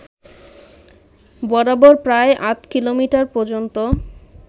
বরাবর প্রায় আধা কিলোমিটার পর্যন্ত